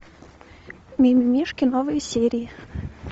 мимимишки новые серии